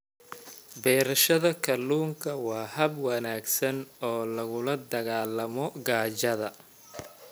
Beerashada kalluunka waa hab wanaagsan oo lagula dagaallamo gaajada.